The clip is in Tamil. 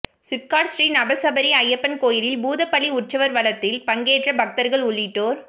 சிப்காட் ஸ்ரீ நவசபரி ஐயப்பன் கோயிலில் பூதபலி உற்சவா் வலத்தில் பங்கேற்ற பக்தா்கள் உள்ளிட்டோா்